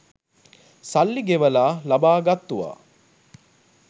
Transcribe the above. සල්ලි ගෙවලා ලබා ගත්තුවා.